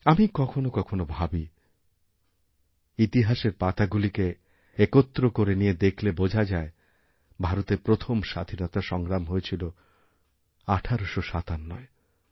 আমি কখনও কখনও ভাবিইতিহাসের পাতাগুলিকে একত্র করে নিয়ে দেখলে বোঝা যায় ভারতের প্রথম স্বাধীনতাসংগ্রাম হয়েছিল ১৮৫৭য়